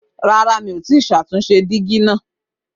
Rárá, mi ò tí ì ṣàtúnṣe dígí náà